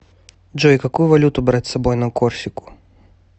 джой какую валюту брать с собой на корсику